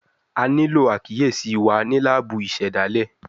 A nilo akiyesi wa ni laabu isedale